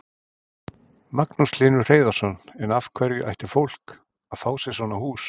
Magnús Hlynur Hreiðarsson: En af hverju ætti fólk að fá sér svona hús?